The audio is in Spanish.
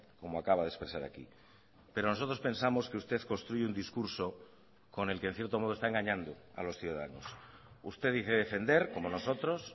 como acaba de expresar aquí pero nosotros pensamos que usted construye un discurso con el que en cierto modo está engañando a los ciudadanos usted dice defender como nosotros